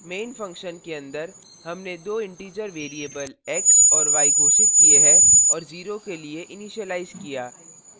main function के अंदर हमने दो integer variables x और y घोषित किये और और 0 के लिए initialize किया